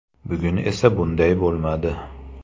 Bugun esa bunday bo‘lmadi.